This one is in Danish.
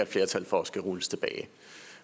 flertal for skal rulles tilbage